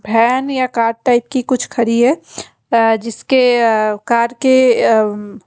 Fan या car type की कुछ खड़ी है। अ जिसके अ कार के अ--